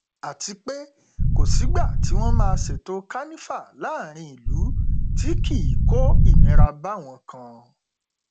àti pé kò sígbà tí wọn máa ṣètò kanifa láàrin ìlú tí kì í kó ìnira báwọn kan